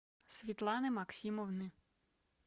светланы максимовны